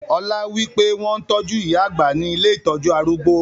Ọlá wípé; wọn tọju ìyá àgbà ni ilé ìtọ́jú arúgbó.